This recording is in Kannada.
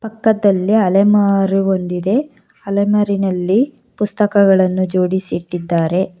ಪಕ್ಕದಲ್ಲಿ ಅಲೆಮಾರು ಒಂದಿದೆ ಅಲೆಮಾರಿನಲ್ಲಿ ಪುಸ್ತಕಗಳನ್ನ ಜೋಡಿಸಿಟ್ಟಿದ್ದಾರೆ.